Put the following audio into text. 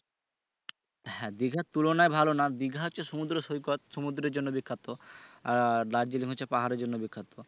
হ্যা দিঘার তুলনায় ভালো না দিঘা হচ্ছে সমুদ্র সৈকত সমুদ্রে জন্য বিখ্যাত আহ আর দার্জিলিং হচ্ছে পাহাড়ের জন্য বিখ্যাত